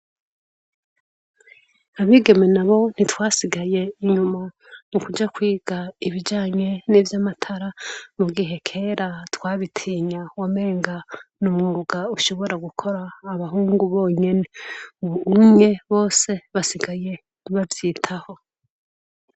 Abagime nabo ntitwasigaye inyuma mu kuja kwiga ibijanye nivya matara mu gihe kera twabitinya wamenga n'umwuga ushobora gukora abahungu bonyene ubunye bose basigaye bavyitaho.